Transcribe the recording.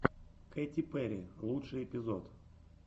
кэти перри лучший эпизод